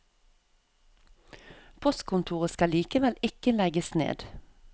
Postkontoret skal likevel ikke legges ned.